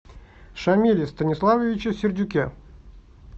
шамиле станиславовиче сердюке